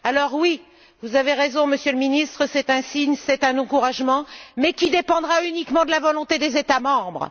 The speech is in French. Oui, vous avez raison, Monsieur le ministre, c'est un signe, c'est un encouragement, mais qui dépendra uniquement de la volonté des États membres.